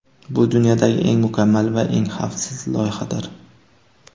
Bu dunyodagi eng mukammal va eng xavfsiz loyihadir.